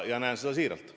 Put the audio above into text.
Ma ütlen seda siiralt.